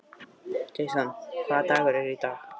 Jason, hvaða dagur er í dag?